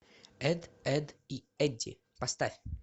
эд эдд и эдди поставь